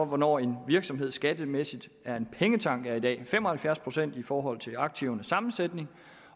hvornår en virksomhed skattemæssigt er en pengetank er i dag fem og halvfjerds procent i forhold til aktivernes sammensætning